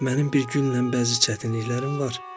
Mənim bir günlə bəzi çətinliklərim var.